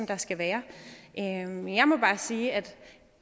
der skal være men jeg må bare sige at